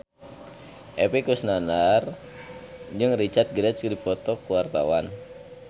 Epy Kusnandar jeung Richard Gere keur dipoto ku wartawan